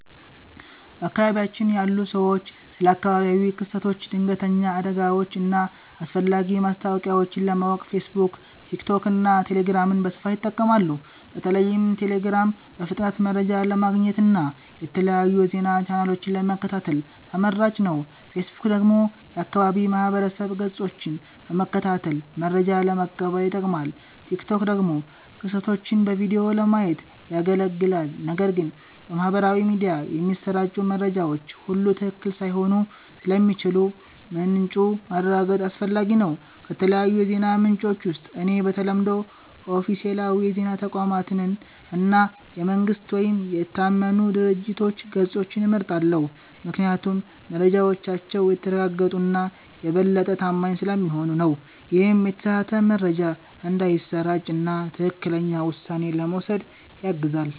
በአካባቢያችን ያሉ ሰዎች ስለ አካባቢያዊ ክስተቶች፣ ድንገተኛ አደጋዎች እና አስፈላጊ ማስታወቂያዎች ለማወቅ ፌስቡክ፣ ቲክቶክ እና ቴሌግራምን በስፋት ይጠቀማሉ። በተለይም ቴሌግራም በፍጥነት መረጃ ለማግኘት እና የተለያዩ የዜና ቻናሎችን ለመከታተል ተመራጭ ነው። ፌስቡክ ደግሞ የአካባቢ ማህበረሰብ ገጾችን በመከታተል መረጃ ለመቀበል ይጠቅማል፣ ቲክቶክ ደግሞ ክስተቶችን በቪዲዮ ለማየት ያገለግላል። ነገር ግን በማህበራዊ ሚዲያ የሚሰራጩ መረጃዎች ሁሉ ትክክለኛ ላይሆኑ ስለሚችሉ ምንጩን ማረጋገጥ አስፈላጊ ነው። ከተለያዩ የዜና ምንጮች ውስጥ እኔ በተለምዶ ኦፊሴላዊ የዜና ተቋማትን እና የመንግስት ወይም የታመኑ ድርጅቶች ገጾችን እመርጣለሁ፤ ምክንያቱም መረጃዎቻቸው የተረጋገጡ እና የበለጠ ታማኝ ስለሚሆኑ ነው። ይህም የተሳሳተ መረጃ እንዳይሰራጭ እና ትክክለኛ ውሳኔ ለመውሰድ ያግዛል።